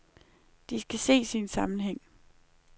De skal ses i en sammenhæng.